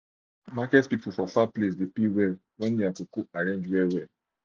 market people for far place de pay well well when their cocoa arrange well